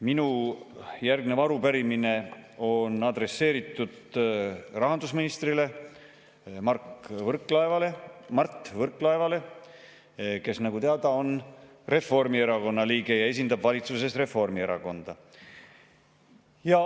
Minu järgnev arupärimine on adresseeritud rahandusminister Mart Võrklaevale, kes, nagu teada, on Reformierakonna liige ja esindab valitsuses Reformierakonda.